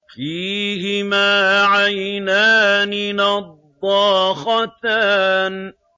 فِيهِمَا عَيْنَانِ نَضَّاخَتَانِ